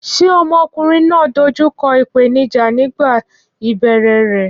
Ṣé ọmọkùnrin náà dojú kọ ìpèníjà nígbà ìbẹ̀rẹ̀ rẹ̀?